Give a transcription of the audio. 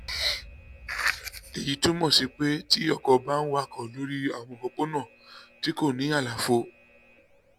èyí túmọ̀ sí pé tí ọkọ̀ bá ń wakọ̀ lórí àwọn òpópónà tí kò ní àlàfo